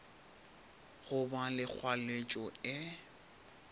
go ba le kgwaletšo e